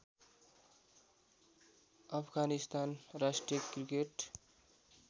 अफगानिस्तान राष्ट्रिय क्रिकेट